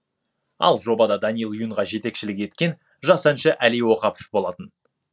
ал жобада даниил юнға жетекшілік еткен жас әнші әли оқапов болатын